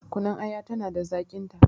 Kunun aya tana da zaƙin ta